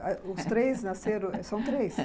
Os três nasceram... São três?